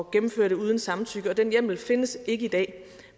gennemføre det uden samtykke den hjemmel findes ikke i dag